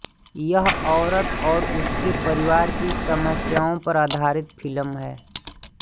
यह औरत और उसके परिवार की समस्याओं पर आधारित फ़िल्म है